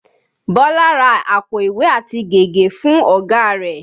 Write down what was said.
Bọlá ra àpò ìwé àti gègé fún ọ̀gá rẹ̀